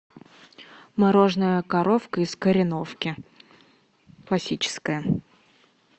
мороженое коровка из кореновки классическое